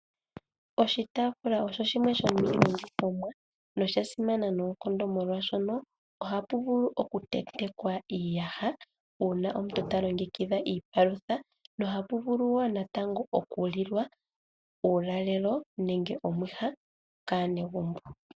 Oshitaafula osho shimwe nosha simana lela noonkondo, molwashono ohapu okutentekwa iiyaha uuna omuntu ta longekidha iipalutha nohapu vulu wo natango okulilwa uulalelo nenge omwiha kaanegumbo.